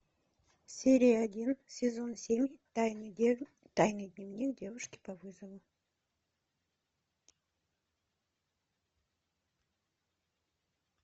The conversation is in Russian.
серия один сезон семь тайный дневник девушки по вызову